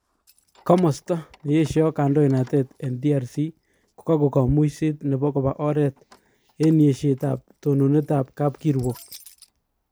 Komosta neyesho kondoinatet en DRC kako komuiset nebo koba oret en yeshet ab tononet ab kapkirwok